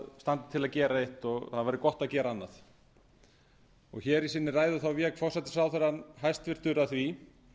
það standi til að gera eitt og það væri gott að gera annað í sinni ræðu vék hæstvirtur forsætisráðherra að því